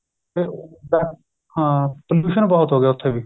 ਹਾਂ pollution ਬਹੁਤ ਹੋ ਗਿਆ ਉਥੇ ਵੀ